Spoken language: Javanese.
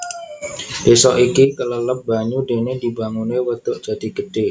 Désa iki kelelep banyu déné dibanguné Wadhuk Jatigedé